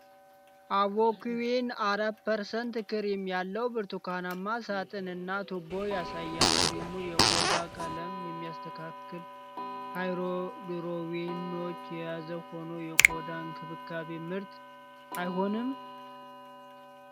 አቮኩዊን 4% ክሬም ያለው ብርቱካናማ ሳጥን እና ቱቦ ያሳያል፤ ክሬሙ የቆዳ ቀለምን የሚያስተካክል ሃይድሮኪዊኖን የያዘ ሆኖ የቆዳ እንክብካቤ ምርት አይሆንም?